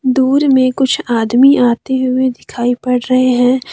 दूर में कुछ आदमी आते हुए दिखाई पड़ रहे हैं।